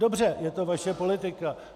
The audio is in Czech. Dobře, je to vaše politika.